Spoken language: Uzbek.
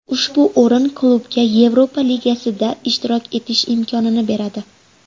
Ushbu o‘rin klubga Yevropa Ligasida ishtirok etish imkonini beradi.